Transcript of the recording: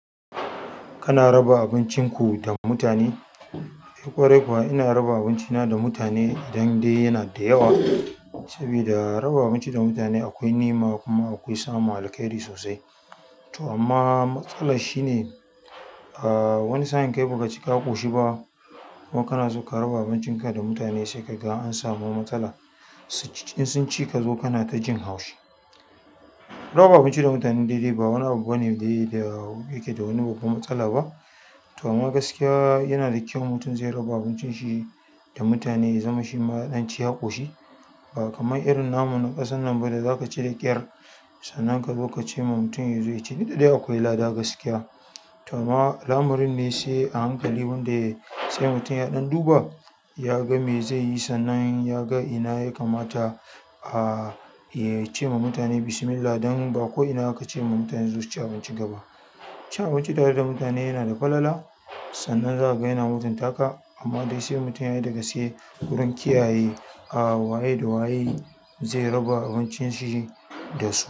Kana raba abincin ku da mutane? Ƙwarai kuwa, ina raba abincina da mutane idan dai yana da yawa saboda raba abinci da mutane akwai ni'ima kuma akwai samun alkairi sosai. To amma matsalar shine, wani sa'in kai ba ka ci ka ƙoshi ba kuma kana so ka raba abincinka da mutane sai ka ga an samu matsala. In sun ci ka zo kana ta jin haushi. Raba abinci da mutane daidai ba wani abu bane dai da yake da wani babbar matsala ba. To amma gaskiya yana da kyau mutum zai raba abincin shi da mutane ya zama shi ma ya ɗan ci ya ƙoshi. Amma irin namu na ƙasar nan bane zaka ci da ƙyar sannan ka zo ka ce ma mutum ya zo ya ci duk da dai akwai lada gaskiya. To amma lamarin ne sai a hankali wanda sai mutum ya ɗan duba ya ga mai zai yi sannan ya ga ina ya kamata ya ce ma mutane Bismillah don ba ko ina aka ce ma mutane su zo su ci abincin ka ba. Cin abinci tare da mutane yana da falala. Sannan zai zo yana mutuntaka, amma dai sai mutum yayi da gaske wurin kiyaye ah. Waye da waye zai raba abincin shi da su.